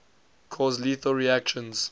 cause lethal reactions